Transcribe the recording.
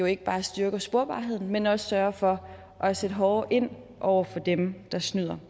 ikke bare styrker sporbarheden men også sørger for at sætte hårdere ind over for dem der snyder